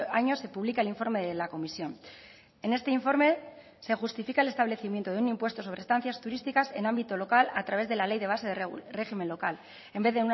año se publica el informe de la comisión en este informe se justifica el establecimiento de un impuesto sobre estancias turísticas en ámbito local a través de la ley de base de régimen local en vez